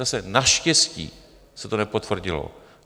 Zase, naštěstí se to nepotvrdilo.